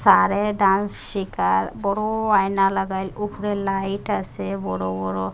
চারে ড্যান্স শিখার বড়ো আয়না লাগাইল উফরে লাইট আসে বড়ো বড়ো।